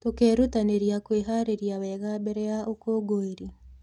Tũkerutanĩria kwĩharĩrĩria wega mbere ya ũkũngũĩri.